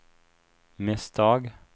misstag